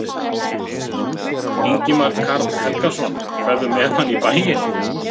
Ingimar Karl Helgason: Ferðu með hann í bæinn?